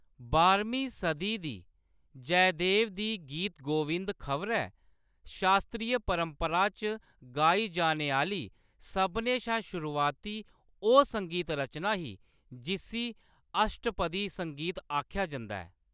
बाहरमीं सदी दी जयदेव दी गीत गोविंद खबरै शास्त्रीय परंपरा च गाई जाने आह्‌‌‌ली सभनें शा शुरुआती ओह्‌‌ संगीत रचना ही जिस्सी अष्टपदी संगीत आखेआ जंदा ऐ।